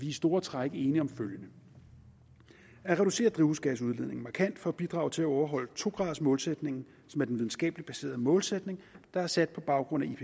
i store træk enige om følgende at reducere drivhusgasudledningen markant for at bidrage til at overholde to gradersmålsætningen som er den videnskabeligt baserede målsætning der er sat på baggrund af